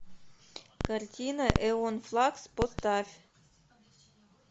картина эон флакс поставь